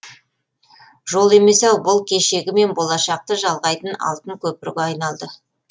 жол емес ау бұл кешегі мен болашақты жалғайтын алтын көпірге айналды